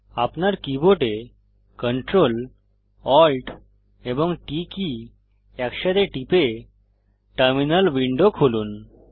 আপনার keyboard Ctrl Alt এবং T key একসাথে টিপে টার্মিনাল উইন্ডো খুলুন